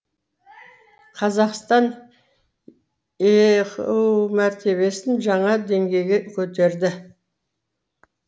қазақстан еқыұ мәртебесін жаңа деңгейге көтерді